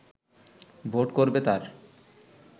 vote করবে তার